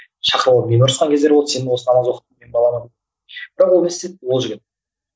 шақырып алып мені ұрысқан кездер болды сен осы намаз балама бірақ ол не істеді ол жігіт